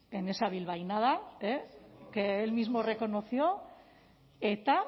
en esa bilbainada que él mismo reconoció eta